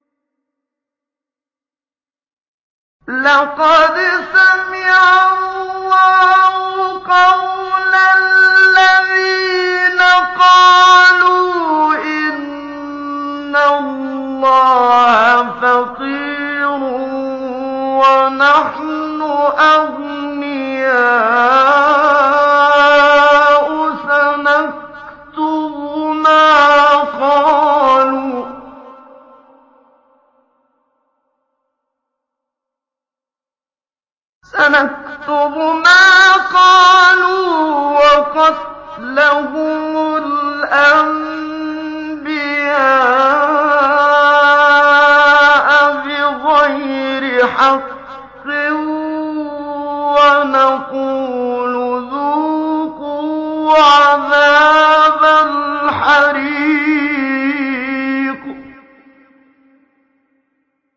لَّقَدْ سَمِعَ اللَّهُ قَوْلَ الَّذِينَ قَالُوا إِنَّ اللَّهَ فَقِيرٌ وَنَحْنُ أَغْنِيَاءُ ۘ سَنَكْتُبُ مَا قَالُوا وَقَتْلَهُمُ الْأَنبِيَاءَ بِغَيْرِ حَقٍّ وَنَقُولُ ذُوقُوا عَذَابَ الْحَرِيقِ